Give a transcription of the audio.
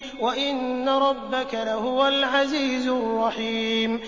وَإِنَّ رَبَّكَ لَهُوَ الْعَزِيزُ الرَّحِيمُ